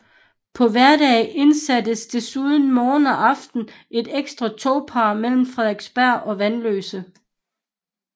På hverdage indsattes desuden morgen og aften et ekstra togpar mellem Frederiksberg og Vanløse